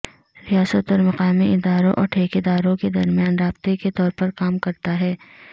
ریاست اور مقامی اداروں اور ٹھیکیداروں کے درمیان رابطے کے طور پر کام کرتا ہے